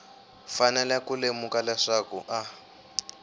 fanele ku lemuka leswaku a